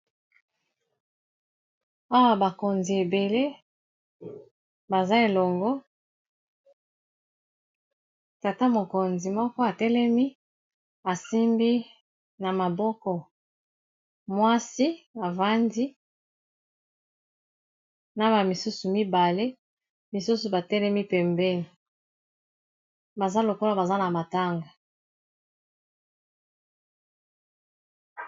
Oyo bakonzi ebele baza elongo. Tata mokonzi moko atelemi, asimbi na maboko mwasi avandi na ba misusu mibale. Misusu batelemi pembeni, baza lokola baza na matanga.